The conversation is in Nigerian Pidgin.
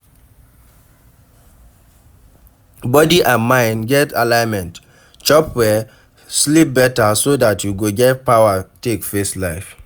Body and mind get alignment, chop well, sleep better so dat you go get power take face life